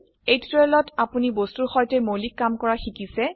এই টিউটোৰিয়ালত আপোনি বস্তুৰ সৈতে মৌলিক কামকৰা শিকিছে